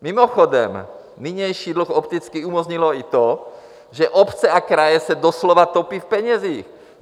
Mimochodem, nynější dluh opticky umožnilo i to, že obce a kraje se doslova topí v penězích.